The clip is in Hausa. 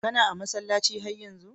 Kana a'masallaci har yanzu?